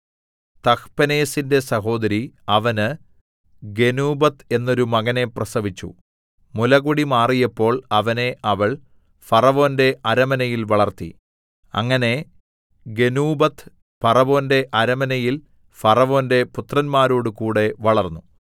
തഹ്പെനേസിന്റെ സഹോദരി അവന് ഗെനൂബത്ത് എന്നൊരു മകനെ പ്രസവിച്ചു മുലകുടി മാറിയപ്പോൾ അവനെ അവൾ ഫറവോന്റെ അരമനയിൽ വളർത്തി അങ്ങനെ ഗെനൂബത്ത് ഫറവോന്റെ അരമനയിൽ ഫറവോന്റെ പുത്രന്മാരോടുകൂടെ വളർന്നു